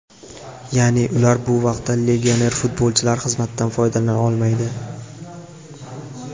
Ya’ni, ular bu vaqtda legioner futbolchilar xizmatidan foydalana olmaydi.